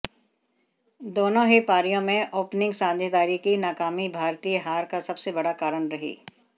दोनों ही पारियों में ओपनिंग साझेदारी की नाकामी भारतीय हार का सबसे बड़ा कारण रही